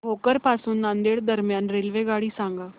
भोकर पासून नांदेड दरम्यान रेल्वेगाडी सांगा